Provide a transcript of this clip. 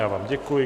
Já vám děkuji.